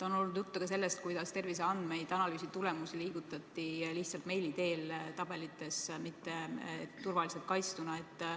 On olnud juttu ka sellest, kuidas terviseandmeid, analüüsitulemusi on liigutatud lihtsalt meili teel tabelites, mitte turvaliselt kaitstuna.